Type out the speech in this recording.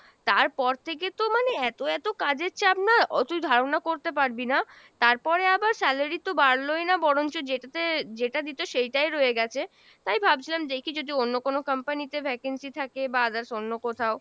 তার পর থেকে তো মানে এত এত কাজের চাপ না ও তুই ধারণা করতে পারবি না, তারপরে আবার salary তো বাড়লোই না বরংচ যেটাতে যেটা দিতো সেইটাই রয়ে গেছে, তাই ভাবছিলাম দেখি যদি অন্য কোনো company তে vacancy থাকে বা others অন্য কোথাও,